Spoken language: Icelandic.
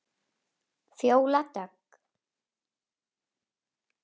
Fjóla Dögg.